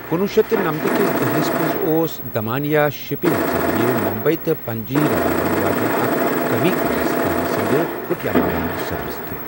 کُنوُہ شیٚتھ نمتہٕ کس دہلِس منٛز اوس دمانیہ شپنگ ذٔریعہٕ ممبے تہٕ پنجی رلاون واجیٚنۍ اکھ کمی کالس تام زِنٛدٕ کیٹاماران سروس تہِ۔